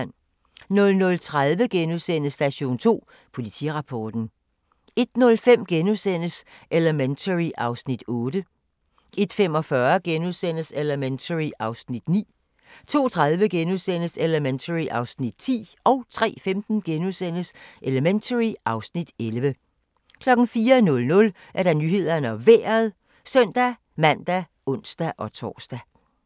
00:30: Station 2: Politirapporten * 01:05: Elementary (Afs. 8)* 01:45: Elementary (Afs. 9)* 02:30: Elementary (Afs. 10)* 03:15: Elementary (Afs. 11)* 04:00: Nyhederne og Vejret (søn-man og ons-tor)